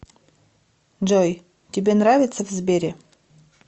джой тебе нравится в сбере